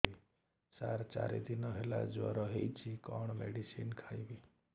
ସାର ଚାରି ଦିନ ହେଲା ଜ୍ଵର ହେଇଚି କଣ ମେଡିସିନ ଖାଇବି